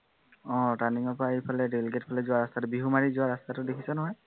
আহ turning ৰ পৰা এইফালে দেলিগেট ফালে যোৱা ৰাস্তাটো, বিহুমাৰীলৈ যোৱা ৰাস্তাটো দেখিছ নহয়